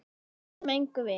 Við bætum engu við.